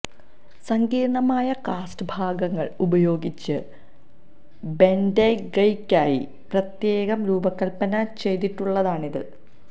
സങ്കീർണമായ കാസ്റ്റ് ഭാഗങ്ങൾ ഉപയോഗിച്ച് ബെന്റേഗയ്ക്കായി പ്രത്യേകം രൂപകൽപ്പന ചെയ്തിട്ടുള്ളതാണിത്